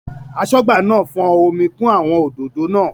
Aṣọ́gbà náà fọ́n omi kún àwọn òdòdó náà.